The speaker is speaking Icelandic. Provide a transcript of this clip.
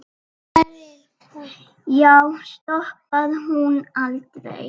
Já, stoppar hún aldrei?